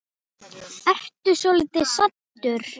Ertu svolítið saddur?